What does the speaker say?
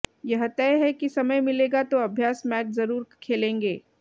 यह तय है कि समय मिलेगा तो अभ्यास मैच जरूर खेलेंगे